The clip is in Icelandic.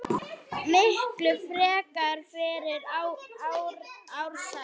Miklu frekar fyrir Ársæl.